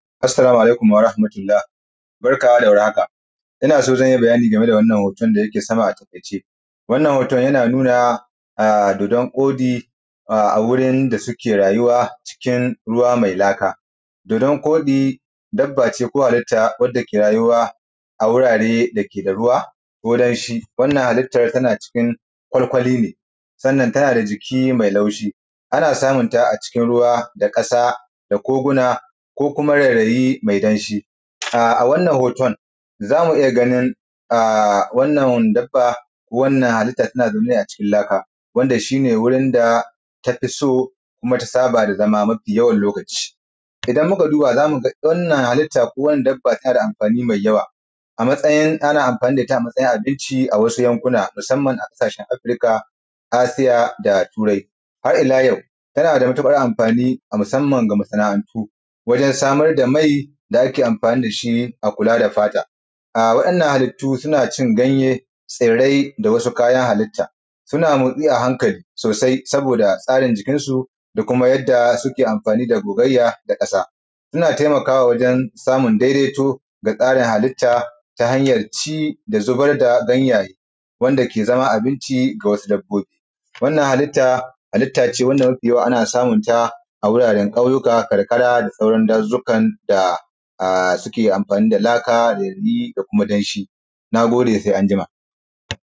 Assalamu alaikum warahmatullahi barka da warhaka yau za ni bayani game da wannan hutun dake sama wannan hotun yana nuna dodon koɗi a wurin da suke rayuwa yawan ruwa me laka dodon koɗi dabba ce ko halitta dake rayuwa a wurare dake da ruwa ko danshi. Halittan tana cikin kwarkuwali ne, sai tana da jiki me taushi ana samunta a cikin ƙasa da ruwe a kogona ko yanayi me danshi. A wannan hoton, za mu iya ganin a wannan dabba, wannan halittan tana zaune ne a cikin laka wannan shi ne wurin dake ta fi so koma saba da zama lokaci-lokaci. Idan muka duba, za mu ga wannan halittan tana anfani me yawa, ana anfani da ita a matsayin abinci, musama ma a ƙasashenn afrika, asiya da turaya. Har ila yau, tana matuƙar anfani masmanna ga masana antu wajen samar da mai da ake anfani da shi, akula da fata. Wayan halittu suna cin ganye tsirai da sauran kayan halitta, suna motsi a hankali saboda tsarin jikinsu koma yadda suke anfani da gogayya, yana taimakawa wajen samar da daidaito da tsarin halitta ta hanyar ci da a zubar da yanyayi, ta yadda yake zama abinci ga sauran dabbobi. Wannan halittan ce wannan ana samun ta a wuraren na ƙauyuka da sauran dajojjuka dake suke anfani da laka ko danshi. Na gode se anjima.